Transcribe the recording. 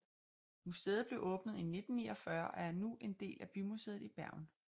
Museet blev åbnet i 1949 og er nu en del af Bymuseet i Bergen